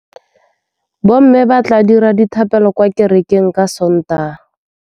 Bommê ba tla dira dithapêlô kwa kerekeng ka Sontaga.